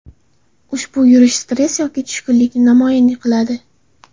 Ushbu yurish stress yoki tushkunlikni namoyon qiladi.